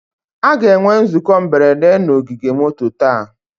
A ga-enwe nzukọ mberede na ogige moto taa